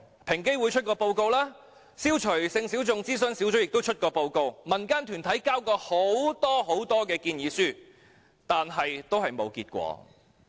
平等機會委員會曾發表報告，消除歧視性小眾諮詢小組亦曾發表報告，民間團體也曾提交多份建議書，但都沒有結果。